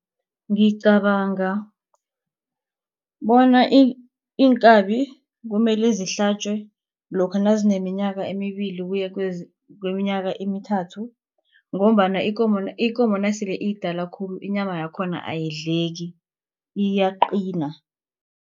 Ngicabanga bona iinkabi kumele zihlatjwe lokha nazineminyaka emibili ukuya kweminyaka emithathu ngombana ikomo nasele iyidala khulu inyama yakhona ayidleki iyaqina.